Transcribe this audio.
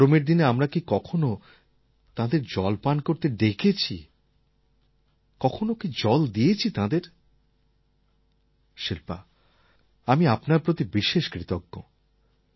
গরমের দিনে আমরা কি কখনও তাঁদের জল পান করতে ডেকেছি কখনও কি জল দিয়েছি তাঁদের শিল্পা আমি আপনার প্রতি বিশেষ কৃতজ্ঞ